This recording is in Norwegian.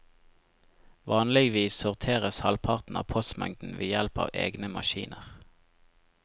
Vanligvis sorteres halvparten av postmengden ved hjelp av egne maskiner.